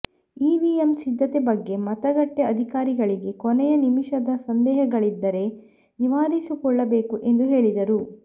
EVM ಸಿದ್ಧತೆ ಬಗ್ಗೆ ಮತಗಟ್ಟೆ ಅಧಿಕಾರಿಗಳಿಗೆ ಕೊನೆಯ ನಿಮಿಷದ ಸಂದೇಹಗಳಿದ್ದರೆ ನಿವಾರಿಸಿಕೊಳ್ಳಬೇಕು ಎಂದು ಹೇಳಿದರು